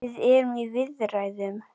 Við erum í viðræðum.